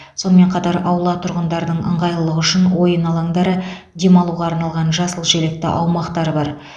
сонымен қатар аулада тұрғындардың ыңғайлылығы үшін ойын алаңдары демалуға арналған жасыл желекті аумақтар бар